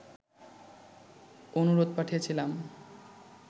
অনুরোধ পাঠিয়েছিলাম